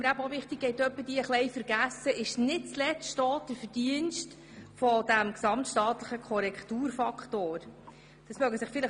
Es geht hin und wieder vergessen, dass dies nicht zuletzt das Verdienst des gesamtstaatlichen Korrekturfaktors ist: